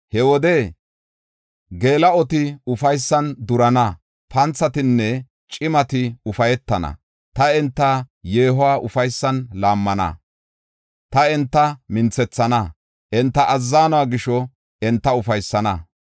He wode geela7oti ufaysan durana; panthatinne cimati ufaytana. Ta enta yeehuwa ufaysan laammana; ta enta minthethana; enta azzanuwa gisho enta ufaysana.